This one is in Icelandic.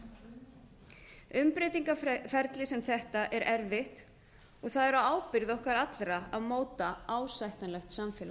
stödd í auga stormsins umbreytingarferli sem þetta er erfitt og það er á ábyrgð okkar allra að móta ásættanlegt samfélag